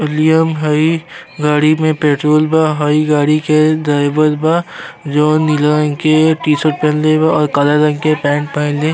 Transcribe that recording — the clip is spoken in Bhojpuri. लिअम हई। गाड़ी में पेट्रोल बा। हई गाड़ी के ड्राइवर बा जउन नीला रंग के टीशर्ट पहिनले बा और काला रंग के पैन्ट पहिनले --